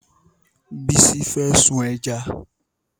Bísí fẹ́ sun ẹja